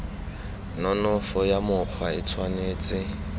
nonofo ya mokgwa e tshwanetse